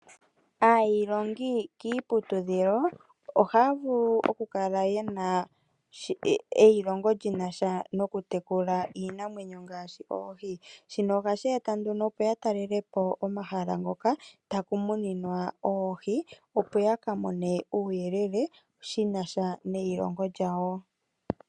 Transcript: Ayiilongi kiiputudhilo ohaya vulu oku kala yenasha eilongo lyokutekula iinamwenyo ngaashi oohi, shino ohashi eta nduno opo ya talele po omahala ngoka taku muninwa oohi, opo ya ka mone uuyelele shi nasha neilongo lyawo.